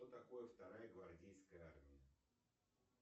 что такое вторая гвардейская армия